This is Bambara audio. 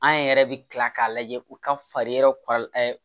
An yɛrɛ bɛ kila k'a lajɛ u ka fari yɔrɔ